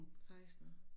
16